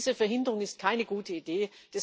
Diese Verhinderung ist keine gute Idee.